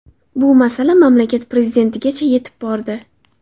Bu masala mamlakat prezidentigacha yetib bordi.